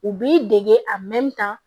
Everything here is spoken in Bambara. U b'i dege a kan